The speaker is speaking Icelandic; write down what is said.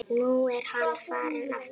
Nú er hann farinn aftur